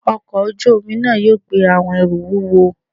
ọkọ ojú-omi náá yóò gbé awọn ẹru wúwọ